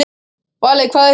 Valey, hvað er klukkan?